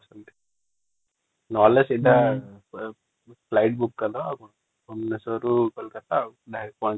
ନହେଲେ ସିଧା flight book କରିଦବା ଭୁବନେଶ୍ବର ରୁ କୋଲକାତା ଡିରେକ୍ଟ ପହଞ୍ଚିବା |